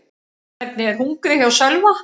Hvernig er hungrið hjá Sölva?